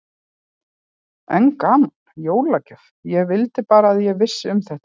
Enn gaman, jólagjöf, ég vildi bara að ég vissi um þetta.